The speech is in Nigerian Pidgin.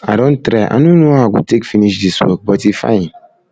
i don try i no know how i go take finish dis work but e fine